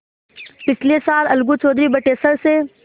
पिछले साल अलगू चौधरी बटेसर से